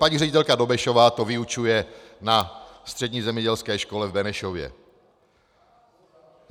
Paní ředitelka Dobešová to vyučuje na Střední zemědělské škole v Benešově.